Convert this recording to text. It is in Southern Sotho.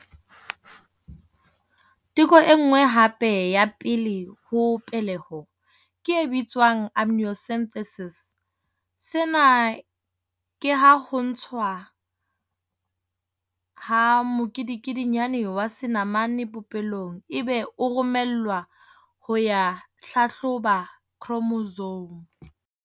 Teko e nngwe hape ya pele ho peleho ke e bitswang amniocentesis. Sena ke haho ntshwa ha mokedikedinyana wa senamane popelong ebe o romellwa ho ya hlahloba khromosome.